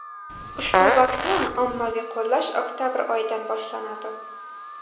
Ushbu vaksinani ommaviy qo‘llash oktabr oyidan boshlanadi .